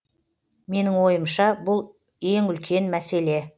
менің ойымша бұл ең үлкен мәселе